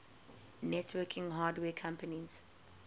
networking hardware companies